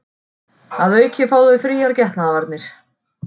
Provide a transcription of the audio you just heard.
Að auki fá þau fríar getnaðarvarnir